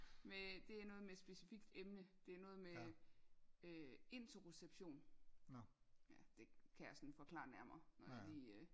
Men det er noget med specifikt emne det er noget med øh øh interoception ja det kan jeg sådan forklare nærmere når jeg lige øh